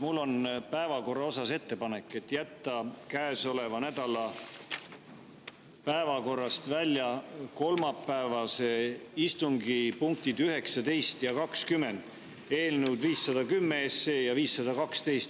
Mul on päevakorra kohta ettepanek jätta käesoleva nädala päevakorrast välja kolmapäevase istungi punktid 19 ja 20, eelnõud 510 ja 512.